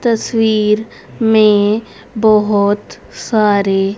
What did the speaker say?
तस्वीर में बहोत सारे।